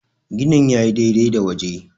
gini ya yi dai-dai da waje